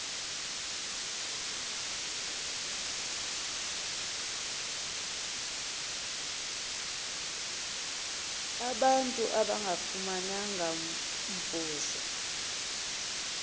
abantu abangafumananga mvuzo